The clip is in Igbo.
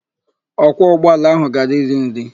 Ọkwọ ụgbọala ahụ gara iri nri.